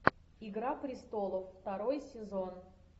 игра престолов второй сезон